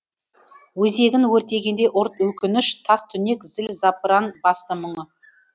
өзегін өртегендей ұрт өкініш тас түнек зіл запыран басты мұны